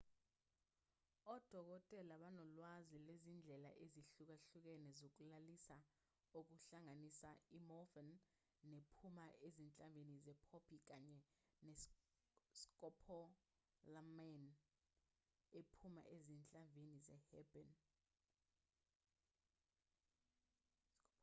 odokotela banolwazi lwezindlela ezihlukahlukene zokulalisa okuhlanganisa i-morphine ephuma ezinhlavini ze-poppy kanye ne-scopolamine ephuma ezinhlavini ze-herbane